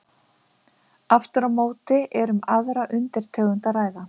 Aftur á móti er um aðra undirtegund að ræða.